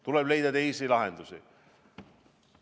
Tuleb leida teisi lahendusi.